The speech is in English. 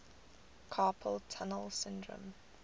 carpal tunnel syndrome